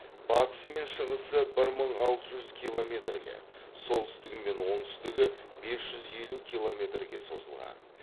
батысы мен шығысы бір мың алты жүз километрге солтүстігі мен оңтүстігі бес жүз елу километрге созылған